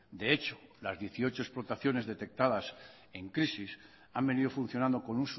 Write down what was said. de hecho las dieciocho explotaciones detectadas en crisis han venido funcionando con